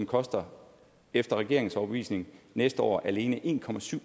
koster efter regeringens overbevisning næste år alene en